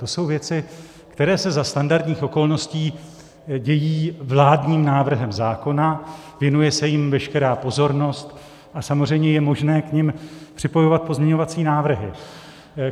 To jsou věci, které se za standardních okolností dějí vládním návrhem zákona, věnuje se jim veškerá pozornost a samozřejmě je možné k nim připojovat pozměňovací návrhy.